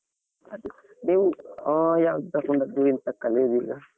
ಅದು ನೀವು ಆ ಯಾವ್ದು ತಕ್ಕೊಂಡದ್ದು ಎಂತ ಕಲಿಯುದು ಈಗ?